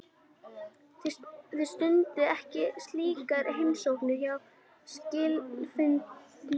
Þið stundið ekki slíkar heimsóknir hjá skilanefndunum?